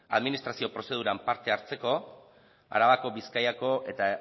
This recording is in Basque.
administrazio prozeduran parte hartzeko arabako bizkaiko eta